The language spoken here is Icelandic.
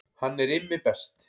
Hann er Immi best